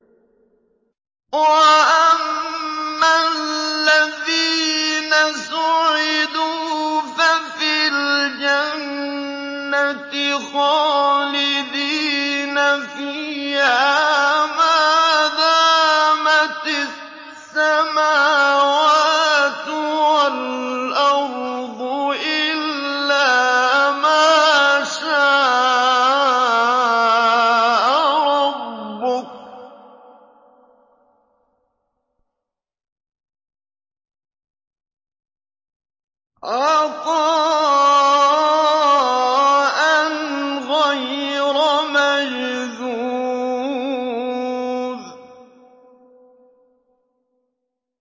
۞ وَأَمَّا الَّذِينَ سُعِدُوا فَفِي الْجَنَّةِ خَالِدِينَ فِيهَا مَا دَامَتِ السَّمَاوَاتُ وَالْأَرْضُ إِلَّا مَا شَاءَ رَبُّكَ ۖ عَطَاءً غَيْرَ مَجْذُوذٍ